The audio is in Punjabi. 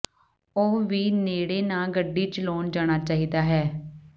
ਉਹ ਵੀ ਨੇੜੇ ਨਾ ਗੱਡੀ ਚਲਾਉਣ ਜਾਣਾ ਚਾਹੀਦਾ ਹੈ